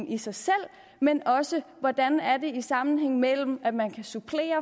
i sig selv men også hvordan der er en sammenhæng mellem at man kan supplere